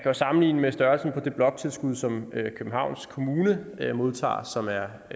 jo sammenligne med størrelsen på det bloktilskud som københavns kommune modtager som er